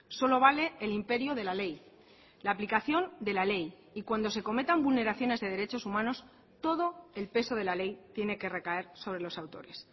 solo vale el imperio de la ley la aplicación de la ley y cuando se cometan vulneraciones de derechos humanos todo el peso de la ley tiene que recaer sobre los autores